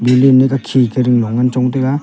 balloon ma khika kading long ngan chong taga.